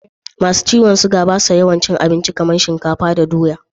masu ciwon sukari ba su yawan cin abinci kamar shinkafa da doya